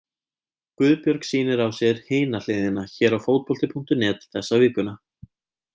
Guðbjörg sýnir á sér Hina hliðina hér á Fótbolti.net þessa vikuna.